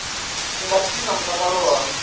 tshi nga thithisa mutakalo wa